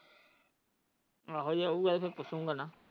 ਆਹੋ ਆਉਣ ਗਏ ਤਾਂ ਪੁੱਛੋਂ ਭਲਾ।